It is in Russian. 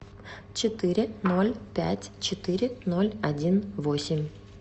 четыре ноль пять четыре ноль один восемь